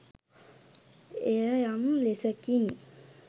එය යම් ලෙසකින්